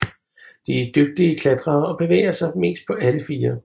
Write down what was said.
De er dygtige klatrere og bevæger sig mest på alle fire